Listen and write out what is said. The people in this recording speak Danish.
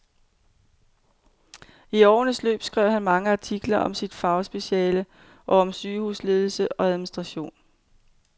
I årenes løb skrev han mange artikler om sit fagspeciale og om sygehusledelse og administration.